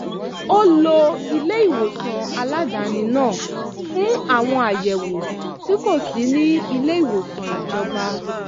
ó lo ilé-ìwòsàn aládàáni náà fún àwọn àyẹ̀wò tí kò sí ní ilé-ìwòsàn ìjọba